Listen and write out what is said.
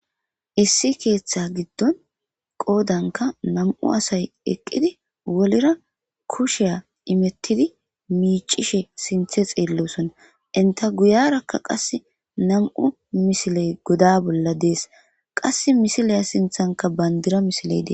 Issi keththa giddon qoddanka nam'u assay eqqidi wollira kushshe immetidi miccishe sinththe xellossona eenta guyyeraka qasse nam'u missiley godda bolla dessi qasse missila sinththanka banddira missiley dessi.